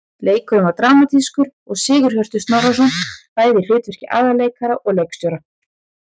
Leikurinn var dramatískur og Sigurhjörtur Snorrason bæði í hlutverki aðalleikara og leikstjóra.